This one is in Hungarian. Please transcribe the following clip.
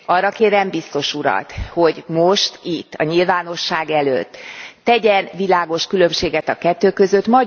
Arra kérem biztos urat, hogy most itt, a nyilvánosság előtt tegyen világos különbséget a kettő között.